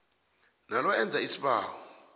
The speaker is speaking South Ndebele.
nalo enza isibawo